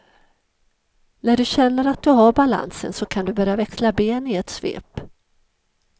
När du känner att du har balansen, så kan du börja växla ben i ett svep.